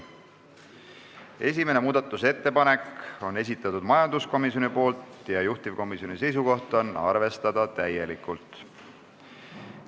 Esimese muudatusettepaneku on esitanud majanduskomisjon ja juhtivkomisjoni seisukoht on arvestada täielikult.